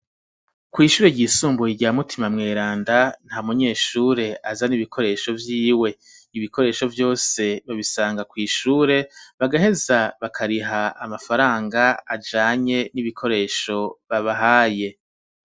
Kw'ishure ryisumbuye rya mutima mweranda nta munyeshure aza n'ibikoresho vyiwe ibikoresho vyose babisanga kw'ishure bagaheza bakariha amafaranga ajanye n'ibikoresho babahaye.